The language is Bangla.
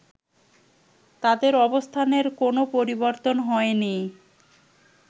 তাদের অবস্থানের কোনো পরিবর্তন হয়নি